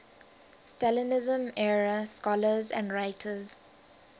stalinism era scholars and writers